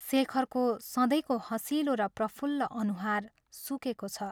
शेखरको सधैँको हँसिलो र प्रफुल्ल अनुहार सुकेको छ।